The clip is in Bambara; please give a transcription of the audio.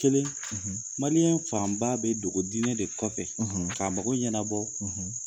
Kelen Mali fanba bɛ dogodinɛ de kɔfɛ k'a mago ɲɛnabɔ.